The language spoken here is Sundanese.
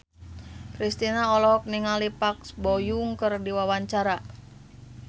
Kristina olohok ningali Park Bo Yung keur diwawancara